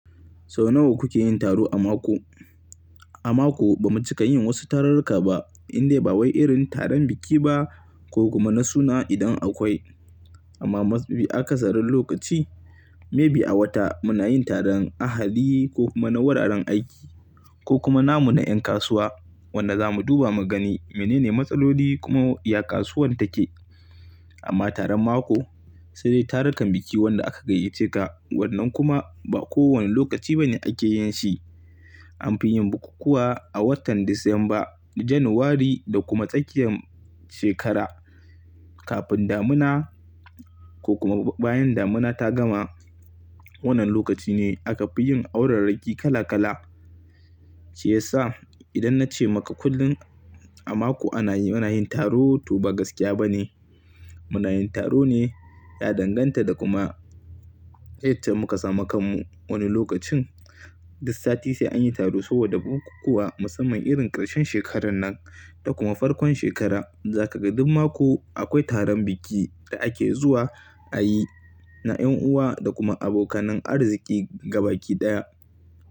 Sau nawa kuke yin taro a mako? A mako ba mu cika yin wasu tarurruka ba indai ba wai irin taron biki ba ko kuma na suna idan akwai. Amma ma fi aka sarin lokaci maybe a wata muna yin taron ahali ko kuma na wuraren aiki ko kuma namu na ƴan kasuwa wanda za mu duba mu gani menene matsaloli kuma ya kasuwar take. Amma taron mako sai dai tarukan biki wanda aka gayyace ka wannan kuma ba kowane lokaci ba ne ake yin shi. Anfi yin bukukkuwa a watan Disamba, January da kuma tsakiyan shekara. Kafin damina ko kuma bayan damina ta gama wannan lokaci ne aka fi yin aurar raki kala kala. Shiyasa idan na ce maka kullum a mako ana yi, muna yin taro to ba gaskiya ba ne. Muna yin taro ne ya danganta da kuma itace muka samu kanmu wani lokacin. Duk sati sai anyi taro saboda bukukkuwa musamman irin karshen shekarar nan da kuma farkon shekara. Zakaga duk mako akwai taron biki da ake zuwa ayi na ƴan uwa da kuma abokanan arziki gaba ki ɗaya.